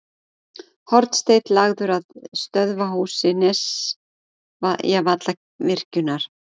Hornsteinn lagður að stöðvarhúsi Nesjavallavirkjunar.